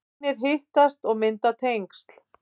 Vinir hittast og mynda tengsl